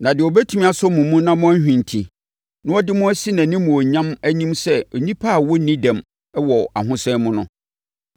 Na deɛ ɔbɛtumi asɔ mo mu na moanhwinti, na ɔde mo asi nʼanimuonyam anim sɛ nnipa a wɔnni dɛm wɔ ahosane mu no,